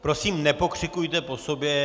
Prosím nepokřikujte po sobě!